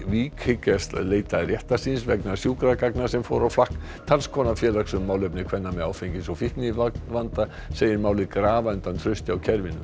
Vík hyggjast leita réttar síns vegna sjúkragagna sem fóru á flakk talskona félags um málefni kvenna með áfengis og fíknivanda segir málið grafa undan trausti á kerfinu